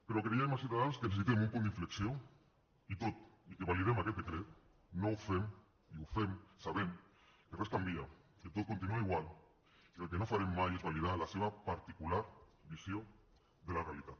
però creiem a ciutadans que necessitem un punt d’inflexió i tot i que validem aquest decret ho fem sabent que res canvia que tot continua igual i que el que no farem mai és validar la seva particular visió de la realitat